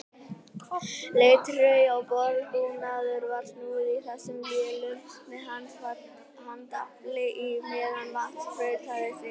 Leirtaui og borðbúnaði var snúið í þessum vélum með handafli á meðan vatn sprautaðist yfir.